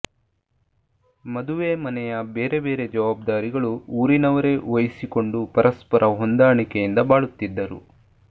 ಮದುವೆ ಮನೆಯ ಬೇರೆ ಬೇರೆ ಜವಾಬ್ದಾರಿಗಳು ಊರಿನವರೇ ವಹಿಸಿಕೊಂಡು ಪರಸ್ಪರ ಹೊಂದಾಣಿಕೆಯಿಂದ ಬಾಳುತ್ತಿದ್ದರು